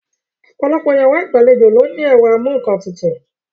Ọ̀pọ̀lọpọ̀ yàrá ìgbàlejò ló ní ẹ̀rọ amú-ńkan-tutù